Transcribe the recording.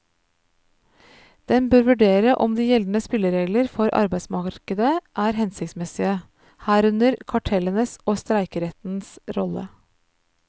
Den bør vurdere om de gjeldende spilleregler for arbeidsmarkedet er hensiktsmessige, herunder kartellenes og streikerettens rolle.